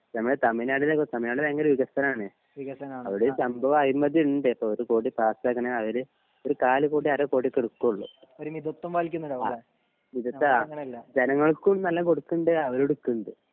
ഇപ്പൊ നമ്മടെ തമിഴ് നാടിനെ തമിഴ് നാട് ഭയങ്കര വികസനാണ് അവിടെ സംഭവം അഴിമതിണ്ട് ഇപ്പൊ ഒരു കോടി പാസായതന്നെ അവര് ഒരു കാല് കോടി അരക്കോടി ഒക്കെ ഇട്ക്കൊള്ളു ആ മിതത്ത ജനങ്ങൾക്കും നല്ലോം കൊടുക്ക്ണ്ട് അവരും ഇട്ക്ക്ണ്ട്